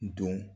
Don